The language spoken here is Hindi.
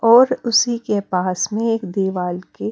और उसी के पास में एक दीवाल के।